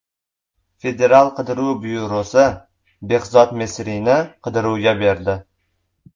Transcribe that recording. Federal qidiruv byurosi Behzod Mesrini qidiruvga berdi.